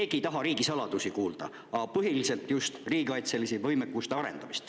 Keegi ei taha riigisaladusi kuulda, küll aga riigikaitseliste arendamisest.